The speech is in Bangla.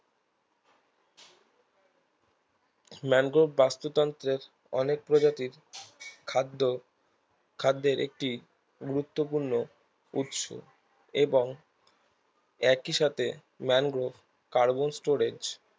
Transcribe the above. ম্যানগ্রোভ বাস্তুতন্ত্রের অনেক প্রজাতির খাদ্য খাদ্যের একটি গুরুত্বপূর্ণ উৎস এবং একইসাথে ম্যানগ্রোভ কার্বন storage